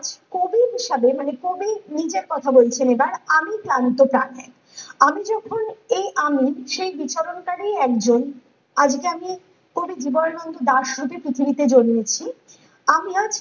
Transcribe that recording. কবির হিসাবে মানে কবির নিজের কথা বলছেন এটা আমি ক্লান্ত প্রাণে আমি যখন এই আমি সেই বিচরণকারী একজন আমি জানি কবি জীবনানন্দ দাস হইতে পৃথিবীতে জন্মেছি আমি আজ